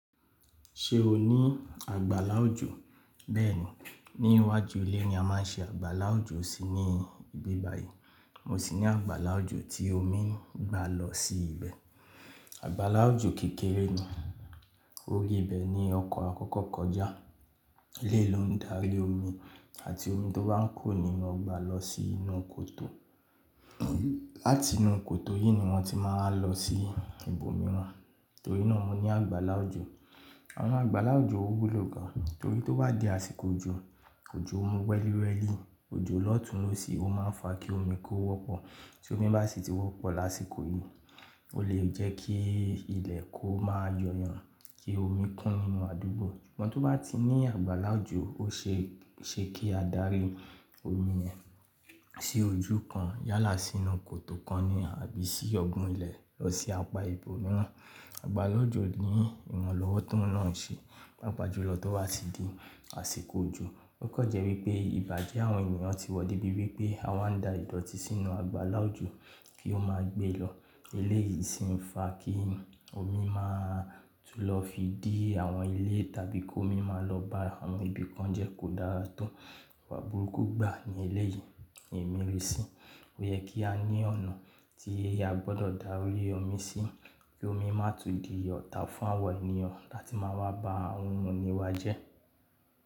Ṣe o ni àgbàlá òjò? Bẹ́ẹ̀ni, ní iwájú ilé ni a má ń ṣe àgbàlá òjò sí ní ibi báyìí. Mo sì ní àgbàlá òjò tí omi ń gba lọ sí ibẹ̀. Àgbàlá òjò kékeré ni, ó rí ibẹ̀ ní ọkọ̀ àkọ́kọ́ kọjá. Eléyi ló ń darí omi àti omi tó bá ń kuro ninu ogba lọ sí inú kòtò. Láti inú kòtò yìí ni wọ́n ti má a lọ sí ibòmíràn. Torí náà mo ní àgbàlá òjò. Àwọn àgbàlá òjò ó wúlò gan, torí tó bá di àsìkò òjò, òjò wẹ́lìwẹ́lì, òjò lọ́tùnlo sí i ó má ń fa kí omi kó wọ́pọ̀. Tí omi bá sì ti wọ́pọ̀ lásìkò yìí, ó lè jẹ́ kí ilẹ̀ kó máa yo yàn, kí omi kún inú àdúgbò. Ṣùgbọ́n tó bá ti ní àgbàlá òjò, ó ṣe é ṣe kí a darí omi yẹn sí ojú kan yálà sínú kòtò kan ni àbí sí ọgbùn ilẹ̀ lọ sí apá ibòmíràn. Àgbàlá òjò ni ìran lọ́wọ́ tóún náà ń ṣe, pàápajùlọ tó bá ti di àsìkò òjò. Ó kọ̀ n jẹ́ wípé ìbàjẹ́ àwọn ènìyàn ti wọ débi wípé a wá ń da ìdọ̀tí sínú àgbàlá òjò kí ó máa gbé lọ. Eléyìí sì ń fa kí omi máa tú lọ fi dí àwọn ilé tàbí kí omi máa lọ bá àwọn ibi kan jẹ́ kó dára to. Ìwà burúkú gbà ní eléyìí, èmi rí sí. Ó yẹ kí a ní ọ̀nà tí a gbọ́dọ̀ darí omi sí, kí omi má tún di otà fún àwọn ènìyàn láti máa wá bá àwọn oun inì wa jẹ́.